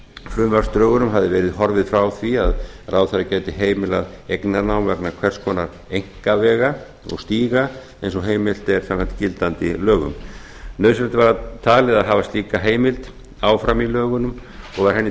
frumvarpsdrögunum hafði verið horfið frá því að ráðherra gæti heimilað eignarnám vegna hvers konar einkavega og stíga eins og heimilt er samkvæmt gildandi lögum nauðsynlegt var talið að hafa slíka heimild áfram í lögunum og var henni